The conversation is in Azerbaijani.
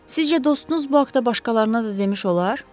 Sizcə dostunuz bu haqda başqalarına da demiş olar?